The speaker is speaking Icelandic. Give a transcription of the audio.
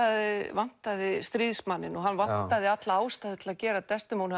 vantaði stríðsmanninn og hann vantaði alla ástæðu til að gera Desdemónu